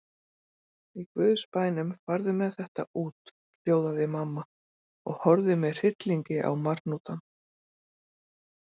Í guðs bænum, farðu með þetta út, hljóðaði mamma og horfði með hryllingi á marhnútana.